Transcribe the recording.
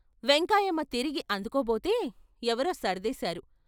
వెంకాయమ్మ తిరిగి అందుకోబోతే ఎవరో సర్దేశారు.